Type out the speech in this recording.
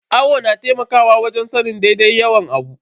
Awo na taimakawa wajen sanin daidai yawan abu.